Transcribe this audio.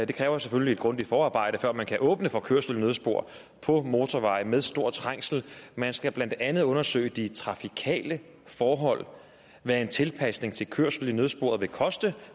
det kræver selvfølgelig et grundigt forarbejde før man kan åbne for kørsel i nødspor på motorveje med stor trængsel man skal blandt andet undersøge de trafikale forhold hvad en tilpasning til kørsel i nødsporet vil koste